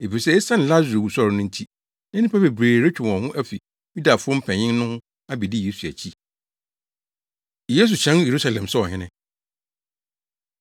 efisɛ esiane Lasaro wusɔre no nti, na nnipa bebree retwe wɔn ho afi Yudafo mpanyin no ho abedi Yesu akyi. Yesu Hyɛn Yerusalem Sɛ Ɔhene